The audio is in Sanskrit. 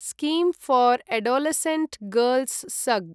scheme for adolescent girls (सग्)